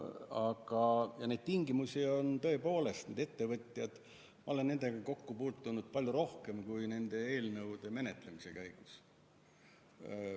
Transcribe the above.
Aga mis puutub tingimustesse, siis tõepoolest, nende ettevõtjatega ma olen kokku puutunud palju rohkem kui nende eelnõude menetlemise käigus.